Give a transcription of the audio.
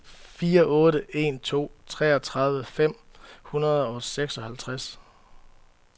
fire otte en to treogtredive fem hundrede og seksoghalvtreds